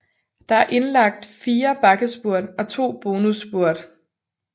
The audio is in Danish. Der er indlagt 4 bakkespurt og 2 bonusspurt